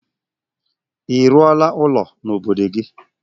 Ị rụọla ụlọ n'obodo gị?